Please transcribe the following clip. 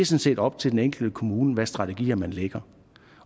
set op til den enkelte kommune hvad for strategier man lægger